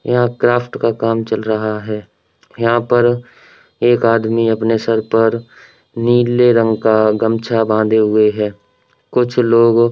यहां क्राफ्ट का काम चल रहा है। यहां पर एक आदमी अपने सर पर नीले रंग का गमछा बांधे हुए है। कुछ लोग --